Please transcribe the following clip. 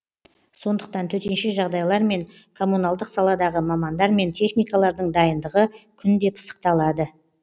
сондықтан төтенше жағдайлар мен коммуналдық саладағы мамандар мен техникалардың дайындығы күнде пысықталады